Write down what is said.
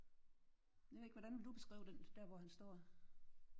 Jeg ved ikke hvordan ville du beskrive den der hvor han står?